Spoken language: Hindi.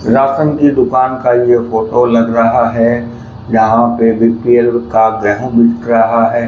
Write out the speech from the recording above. राशन की दुकान का यह फोटो लग रहा है यहां पे बी_पी_एल कार्ड बिक रहा है।